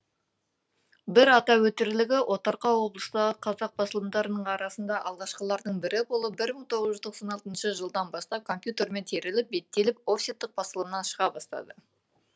бір атап өтерлігі отарқа облыстағы қазақ басылымдарының арасында алғашқылардың бірі болып бір мың тоғыз жүз тоқсан алтыншы жылдан бастап компьютермен теріліп беттеліп офсеттік басылыммен шыға бастады